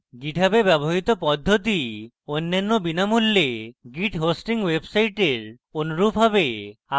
github এ ব্যবহৃত পদ্ধতি অন্যান্য বিনামূল্যে git hosting websites অনুরূপ হবে